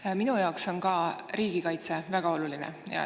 Ka minu jaoks on riigikaitse väga oluline.